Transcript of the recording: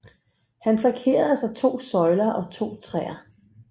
Han flankeres af to søjler og to træer